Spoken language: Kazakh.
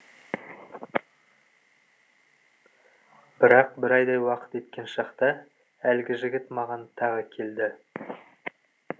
бірақ бір айдай уақыт еткен шақта әлгі жігіт маған тағы келді